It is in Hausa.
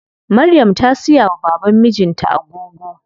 Maryam ta siya wa baban mijin ta agogo.